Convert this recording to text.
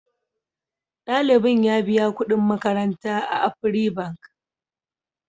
Ɗalibin ya biya kuɗin makaranta a Afri Bank.